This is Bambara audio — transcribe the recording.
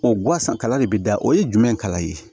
O gansan kala de bi da o ye jumɛn kala ye